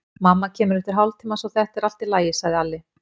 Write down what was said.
Mamma kemur eftir hálftíma, svo þetta er allt í lagi, sagði Alli.